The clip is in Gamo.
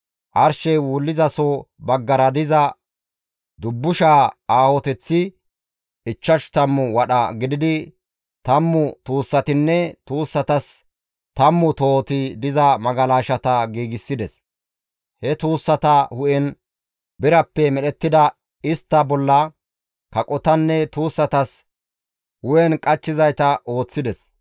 Arshey wullizaso baggara diza dubbushaa aahoteththi ichchashu tammu wadha gididi tammu tuussatinne tuussatas tammu tohoti diza magalashata giigsides; he tuussata hu7en birappe medhettida istta bolla kaqotanne tuussatas hu7en qachchizayta ooththides.